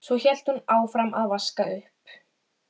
Að mér sé hlíft við því sem þegar er orðið.